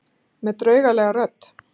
Með draugalegri rödd.